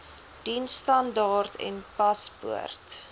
diensstandaard n paspoort